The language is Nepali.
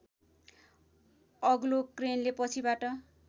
अग्लो क्रेनले पछिबाट